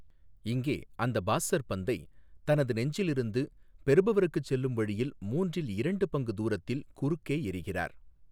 இங்கே, அந்த பாஸ்ஸர் பந்தை தனது நெஞ்சில் இருந்து பெறுபவருக்கு செல்லும் வழியில் மூன்றில் இரண்டு பங்கு தூரத்தில் குறுக்கே எறிகிறார்.